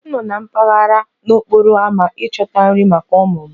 M nọ na-akpaghari n'okporo ámá ịchọta nri maka ụmụ m